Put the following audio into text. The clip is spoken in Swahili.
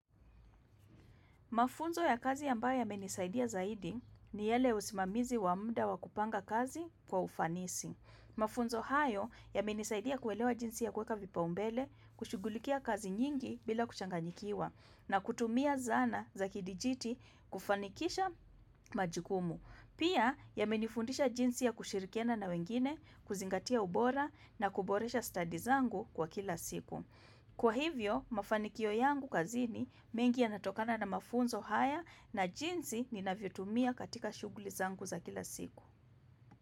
Mafunzo ya kazi ambayo yamenisaidia zaidi ni yale usimamizi wa mda wakupanga kazi kwa ufanisi. Mafunzo hayo ya menisaidia kuelewa jinsi ya kweka vipa umbele kushigulikia kazi nyingi bila kuchanganyikiwa na kutumia zana za kidijiti kufanikisha majukumu. Pia ya menifundisha jinsi ya kushirikiana na wengine kuzingatia ubora na kuboresha stadi zangu kwa kila siku. Kwa hivyo, mafanikio yangu kazini mengi ya natokana na mafunzo haya na jinzi ni navyotumia katika shughuli zangu za kila siku.